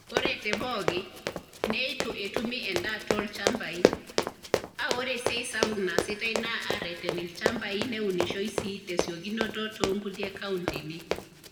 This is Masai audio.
Ore te pooki, neitu etumi endaa too ilchambai , aa ore esiai sapuk naasitai naa aareten ilchamabai neunishoi sii tesiokinoto too nkulie kauntini.